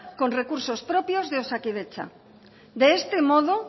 con recursos propios de osakidetza de este modo